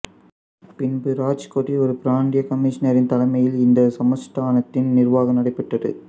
பின்பு ராஜ்கோட்டில் ஒரு பிராந்திய கமிஷனாின் தலைமையில் இந்தச் சமஸ்தானத்தின் நிா்வாகம் நடைபெற்றது